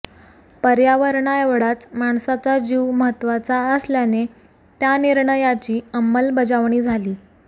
पर्यावरणाएवढाच माणसाचा जीव महत्त्वाचा असल्याने त्या निर्णयाची अंमलबजावणी झाली